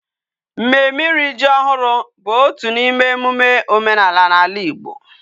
Mmemme iri ji ohuru bu otu na ime emume omenala na ala Igbo